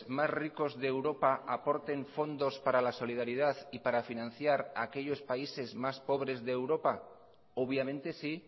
más ricos de europa aporten fondos para la solidaridad y para financiar aquellos países más pobres de europa obviamente sí